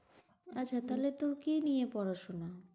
আচ্ছা থালে তোর কি নিয়ে পড়াশোনা?